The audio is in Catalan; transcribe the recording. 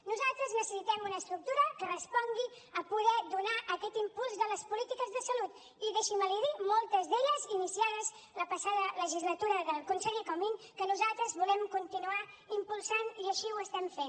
nosaltres necessitem una estructura que respongui a poder donar aquest impuls de les polítiques de salut i deixi’m l’hi dir moltes d’elles iniciades la passada legislatura del conseller comín que nosaltres volem continuar impulsant i així ho estem fent